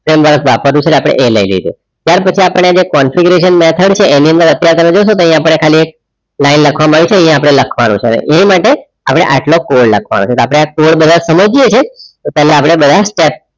frame work વાપરવું છે એટલે એ લઈ લીધું ત્યાર પછી આપણે configurationmethod આની અંદર તય અપડે ખાલી એક line લખવામાં આઇ છે એ લખવાનું છે એ માટે અપડે આટલો કોડ લખવાનો છે તો અપડે આ કોડ બરાબર સમજીએ છીયે તો પેહલા અપડે બધા steps